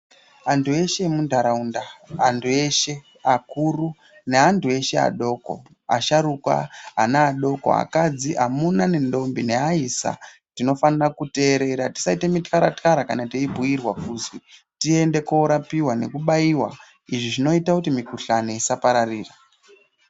Antu eshe emundaraunda antu eshe akuru neantu eshe adoko asharukwa ana adoko akadzi amuna nendombi neaisa tinofana kuterera tisaite mikarakara kana teibhiirwa kuzwi tiende kunorapiwa nekubaiwa izvi zvinoita kuti mikuhlani isa paririra.